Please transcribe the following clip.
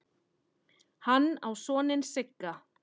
Hann á soninn Sigga.